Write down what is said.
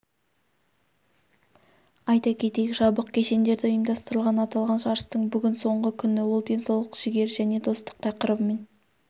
айта кетейік жабық кешендерде ұйымдастырылған аталған жарыстың бүгін соңғы күні ол денсаулық жігер және достық тақырыбымен